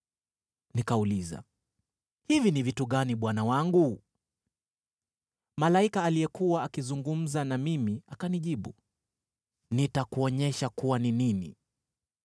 Nikauliza, “Hivi ni vitu gani bwana wangu?” Malaika aliyekuwa akizungumza na mimi akanijibu, “Nitakuonyesha kuwa ni nini.”